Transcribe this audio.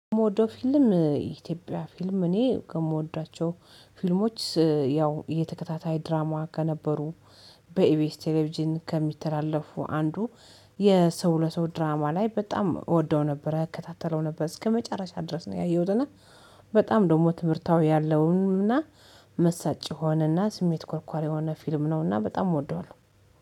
የምወደው ፊልም የኢትዮጵያ ፊልም እኔ ከምወዳቸው ፊልሞች ያው የተከታታይ ድራማ ከነበሩ በኢቢኤስ ቴሌቪዥን ከሚተላለፉ አንዱ የሰው ለሰው ድራማ ላይ በጣም እወደው ነበር እከታተለው ነበር እስከመጨረሻ ድረስ ነው ያየሁት እና በጣም ደግሞ ትምህርታዊ ያለውን እና መሳጭ የሆነ እና ስሜት ኮርኳሪ የሆነ ፊልም ነው። እና በጣም እወደዋለሁ